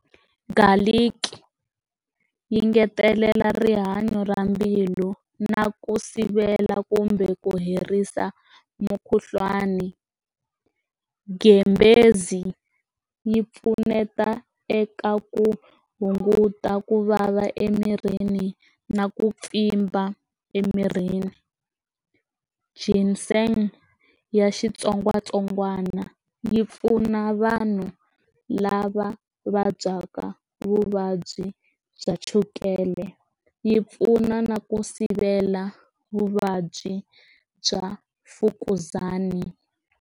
Garlic yi ngetelela rihanyo ra mbilu na ku sivela kumbe ku herisa mukhuhlwani, ghembhezi yi pfuneta eka ku hunguta ku vava emirini na ku pfimba emirini xinse ya xitsongwatsongwana yi pfuna vanhu lava vabyaka vuvabyi bya chukele yi pfuna na ku sivela vuvabyi bya mfukuzana.